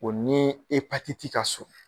O nii ka surun